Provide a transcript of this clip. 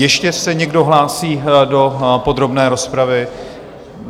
Ještě se někdo hlásí do podrobné rozpravy?